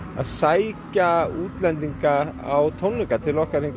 að sækja útlendinga á tónleika til okkar hingað á